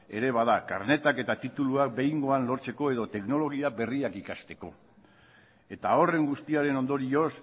era bat da karneta eta titulua behingoan lortzeko edo teknologia berria ikasteko eta horren guztiaren ondorioz